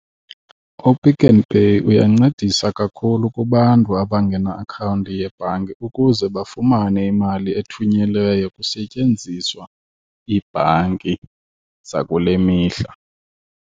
UPick n Pay uyancedisa kakhulu kubantu abangena akhawunti yebhanki ukuze bafumane imali ethunyelweyo kusetyenziswa iibhanki zakule mihla.